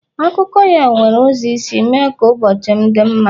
Akụkọ ya nwere ụzọ isi mee ka ụbọchị m dị mma.